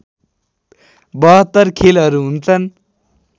७२ खेलहरू हुुन्छन्